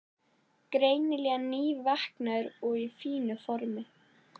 Greinilega nývaknaður og í fínu formi.